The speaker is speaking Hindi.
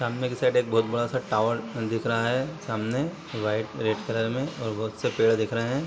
सामने की साइड एक बहुत बड़ा सा टावर दिख रहा है सामने व्हाइट रेड कलर में और बहुत से पेड़ दिख रहे है ।